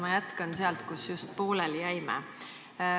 Ma jätkan sealt, kus just pooleli jäime.